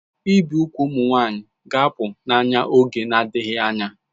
Ibi úgwù ụmụ nwanyị ga-apụ n'anya n'oge na-adịghị anya